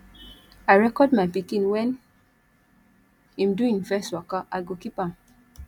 i record my pikin wen im do im first waka i go keep am